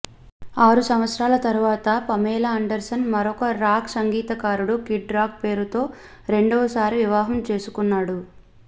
ఆరు సంవత్సరాల తరువాత పమేలా ఆండర్సన్ మరొక రాక్ సంగీతకారుడు కిడ్ రాక్ పేరుతో రెండవసారి వివాహం చేసుకున్నాడు